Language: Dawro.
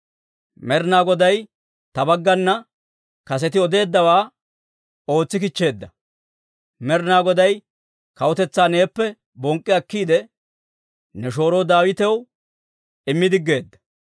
Med'inaa Goday ta baggana kaseti odeeddawaa ootsi kichcheedda; Med'inaa Goday kawutetsaa neeppe bonk'k'i akkiide, ne shooro Daawitaw immi diggeedda.